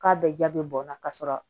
K'a bɛɛ ja be bɔn n na ka sɔrɔ